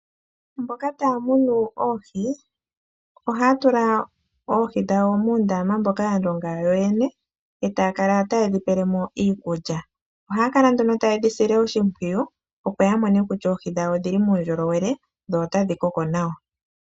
Mboka taya munu oohi, ohaya tula oohi dhawo muundama mboka ya longa yo yene, eta ya kala taye dhi pele mo iikulya. ohaya kala nduno ta yedhi sile oshimpwiyu, opo ya mone kulya oohi dhawo odhili muu ndjolowele, dho otadhi koko nawa.